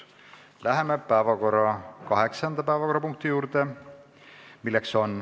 Läheme kaheksanda päevakorrapunkti juurde.